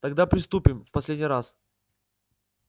тогда приступим в последний раз